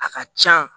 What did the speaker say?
A ka can